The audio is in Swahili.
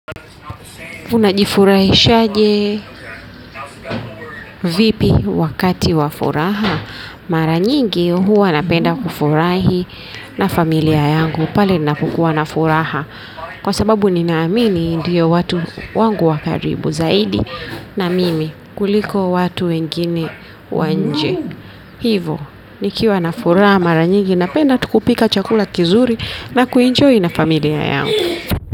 Unajifurahishaje vipi wakati wa furaha mara nyingi huwa napenda kufurahi na familia yangu pale na kukuwa na furaha kwa sababu ninaamini ndiyo watu wangu wa karibu zaidi na mimi kuliko watu wengine wa nje hivo nikiwa na furaha mara nyingi napenda kupika chakula kizuri na kuenjoy na familia yangu.